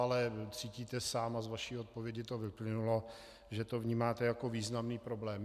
Ale cítíte sám a z vaší odpovědi to vyplynulo, že to vnímáte jako významný problém.